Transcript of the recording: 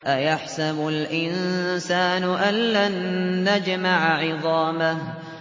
أَيَحْسَبُ الْإِنسَانُ أَلَّن نَّجْمَعَ عِظَامَهُ